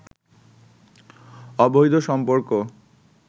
অবৈধ সম্পর্ক